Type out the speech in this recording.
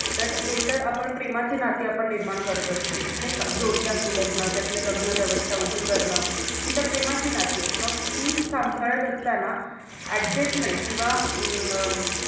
तर हे तर आपण प्रेमाची नाते निर्माण करत असतो. नाई का जोडीदार निवडण, त्यातलं लग्न व्यवस्था उभं करणं, ही तर प्रेमाची नाती हेत मग ती सांभाळत असताना Adjustment किंवा अं